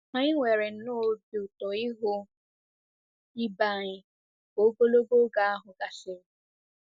Anyị nwere nnọọ obi ụtọ ịhụ ibe anyị ka ogologo oge ahụ gasịrị.